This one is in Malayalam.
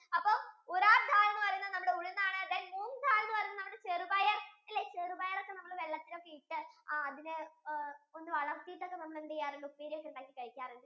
അപ്പൊ ural dal എന്ന് പറയുന്നത് നമ്മുടെ ഉഴുന്ന് ആണ് the moong dal എന്ന് പറയുന്നത് നമ്മുടെ ചെറുപയർ ഇല്ലേ ചെറുപയർ ഒക്കെ നമ്മൾ വെള്ളത്തിൽ ഒക്കെ ഇട്ടു ആ അതിന് വളർത്തിട്ടൊക്കെ നമ്മൾ എന്ത് ചെയ്യാറുള്ളു peal ചെയ്തു കഴിക്കാറുള്ളു അല്ലെ